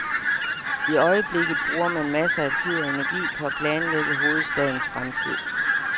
I øjeblikket bruger man masser af tid og energi på at planlægge hovedstadens fremtid.